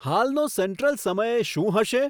હાલનો સેન્ટ્રલ સમય શું હશે